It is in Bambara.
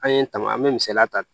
An ye tama an mɛ misaliya ta